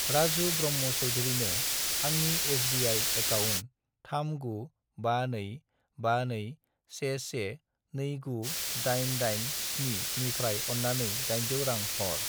राजु ब्रह्म' चौधुरिनो आंनि SBI. Account 3952521129887 निफ्राय अन्नानै 800 रां हर।